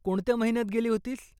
कोणत्या महिन्यात गेली होतीस?